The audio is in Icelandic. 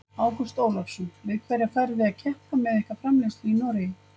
Ágúst Ólafsson: Við hverja farið þið að keppa með ykkar framleiðslu í Noregi?